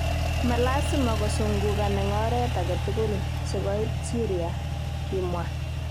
Malasima kosungukan eng oreet agetugul. sikoit Syria",kimwa.